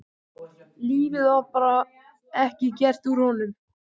Lífið var bara ekki gert úr honum.